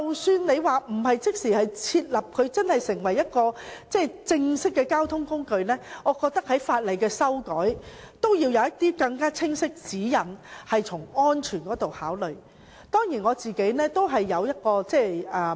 所以，即使單車不會立即成為正式的交通工具，我覺得亦需要修訂法例，從安全方面考慮，提供更清晰的指引。